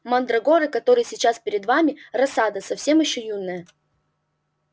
мандрагоры которые сейчас перед вами рассада совсем ещё юная